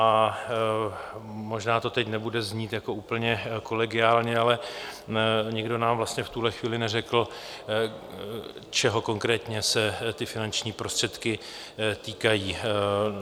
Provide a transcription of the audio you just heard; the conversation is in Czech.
A možná to teď nebude znít jako úplně kolegiálně, ale nikdo nám vlastně v tuhle chvíli neřekl, čeho konkrétně se ty finanční prostředky týkají.